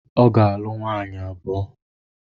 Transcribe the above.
Ọ ga-alụ nwaanyị abụọ.